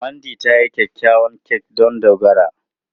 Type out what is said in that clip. Mandy ta yi kyakkyawar kek don Dogara.